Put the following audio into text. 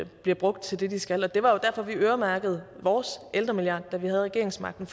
bliver brugt til det de skal det var jo derfor at vi øremærkede vores ældremilliard da vi havde regeringsmagten